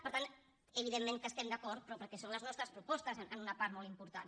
per tant evidentment que estem d’acord però perquè són les nostres propostes en una part molt important